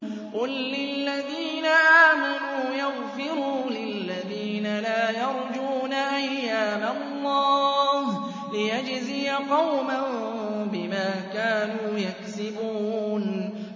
قُل لِّلَّذِينَ آمَنُوا يَغْفِرُوا لِلَّذِينَ لَا يَرْجُونَ أَيَّامَ اللَّهِ لِيَجْزِيَ قَوْمًا بِمَا كَانُوا يَكْسِبُونَ